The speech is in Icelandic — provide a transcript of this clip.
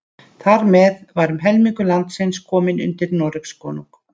Þar með var um helmingur landsins kominn undir Noregskonung.